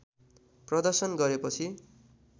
प्रदर्शन गरेपछि